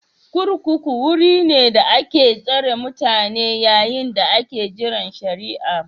kurkuku wuri ne da ake tsare mutane yayin da ake jiran shari'a